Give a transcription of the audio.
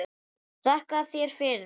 Þakka þér fyrir það.